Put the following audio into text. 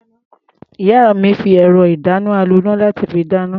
Ìyá mi fi ẹ̀rọ-ìdáná-aloná láti fi dáná.